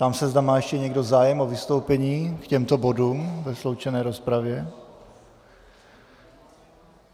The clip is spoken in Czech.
Ptám se, zda má ještě někdo zájem o vystoupení k těmto bodům ve sloučené rozpravě.